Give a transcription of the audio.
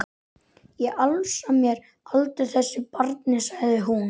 Ég afsala mér aldrei þessu barni, sagði hún.